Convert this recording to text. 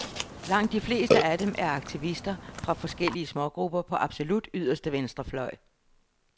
Langt de fleste af dem er aktivister fra forskellige smågrupper på absolut yderste venstrefløj.